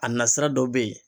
A na sira dɔ be yen